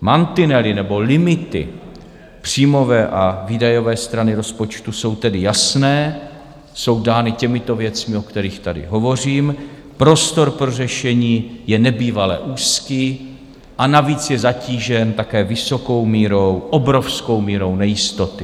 Mantinely nebo limity příjmové a výdajové strany rozpočtu jsou tedy jasné, jsou dány těmito věcmi, o kterých tady hovořím, prostor pro řešení je nebývale úzký, a navíc je zatížen také vysokou mírou, obrovskou mírou nejistoty.